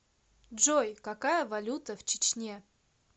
джой какая валюта в чечне